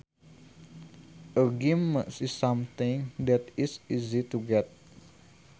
A gimme is something that is easy to get